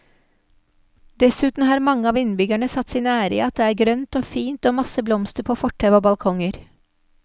Dessuten har mange av innbyggerne satt sin ære i at det er grønt og fint og masse blomster på fortau og balkonger.